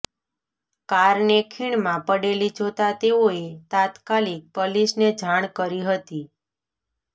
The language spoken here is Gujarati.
કારને ખીણમાં પડેલી જોતા તેઓએ તાત્કાલિક પલીસને જાણ કરી હતી